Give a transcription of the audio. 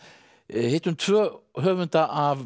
hittum tvo höfunda af